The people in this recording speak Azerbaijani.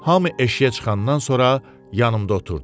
Hamı eşiyə çıxandan sonra yanımda oturdu.